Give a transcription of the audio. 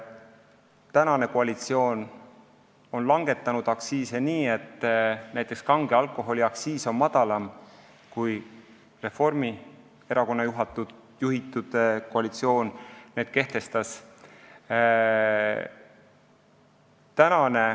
Praegune koalitsioon on langetanud aktsiise nii, et näiteks kange alkoholi aktsiis on väiksem kui Reformierakonna juhitud koalitsiooni kehtestatu.